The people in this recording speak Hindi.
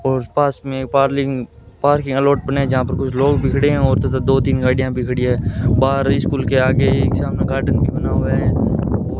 और पास में पर्लिंग लॉट बना है जहां पर कुछ लोग भी खड़े हैं और तथा दो तीन गाड़ियां भी खड़ी हैं बाहर स्कूल के आगे एक सामने गार्डन भी बना हुआ है और --